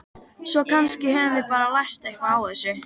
Svo kannski höfum við bara lært eitthvað á þessu.